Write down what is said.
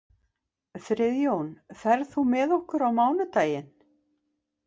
Friðjón, ferð þú með okkur á mánudaginn?